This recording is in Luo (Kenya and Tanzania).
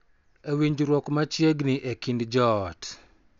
E winjruok machiegni e kind joot,